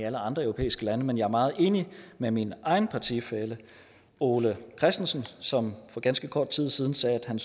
alle andre europæiske lande men jeg er meget enig med min egen partifælle ole christensen som for ganske kort tid siden sagde at han